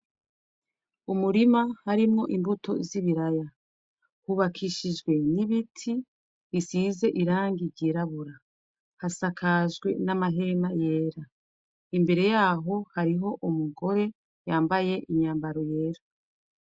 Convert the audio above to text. Umurima harimwo imbuto z'i biraya hubakishijwe n'ibiti isize irangi. iryirabura hasakajwe n'amahema yera imbere yaho hariho umugore yambaye inyambaro yera.